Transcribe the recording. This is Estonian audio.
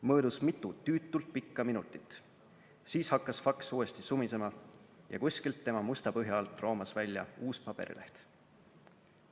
Möödus mitu tüütult pikka minutit, siis hakkas faks uuesti sumisema ja kuskilt tema musta põhja alt roomas välja uus paberileht.